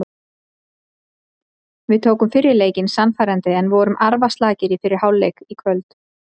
Við tókum fyrri leikinn sannfærandi en vorum arfaslakir í fyrri hálfleik í kvöld.